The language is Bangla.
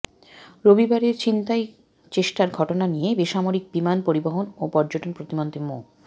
রবিবারের ছিনতাই চেষ্টার ঘটনা নিয়ে বেসামরিক বিমান পরিবহন ও পর্যটন প্রতিমন্ত্রী মো